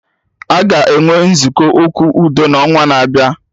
Aga enwe Nzukọ Okwu udo na onwa na-abịa